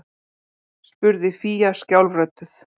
spurði fía skjálfrödduð